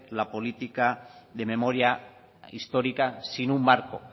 la política de memoria histórica sin un marco